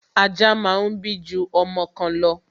Ajá máa ń bí ju ọmọ kan lọ